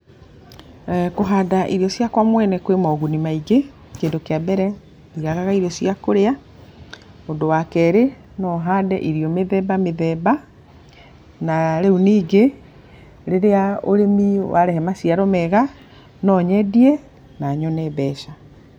Kũhanda irio ciakwa mwene kũrĩ mũguni maingĩ, kĩndũ kĩa mbere ndiagaga irio cĩa kũrĩa. Ũndũ wa kerĩ, no hande irio mĩthemba mĩthemba. Na rĩu ningĩ, rĩrĩa ũrĩmi warehe maciaro mega no nyendie na nyone mbeca.